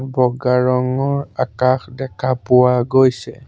বগা ৰঙৰ আকাশ দেখা পোৱা গৈছে।